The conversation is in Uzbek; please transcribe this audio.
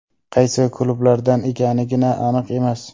Qaysi klublardan ekanigina aniq emas.